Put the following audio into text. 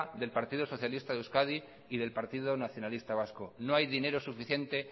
del partido socialista de euskadi y del partido nacionalista vasco no hay dinero suficiente